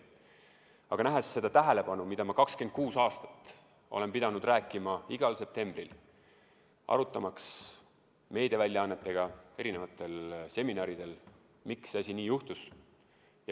Aga 26 aastat olen ma pidanud rääkima igal septembrikuul, arutamaks meediaväljaannetega erinevatel seminaridel, miks see nii juhtus.